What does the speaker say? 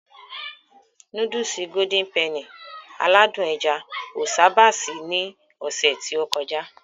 Núdùùsì "Golden Penny" aládùn ẹja o sábà sí ní ọsẹ ti o kọjá.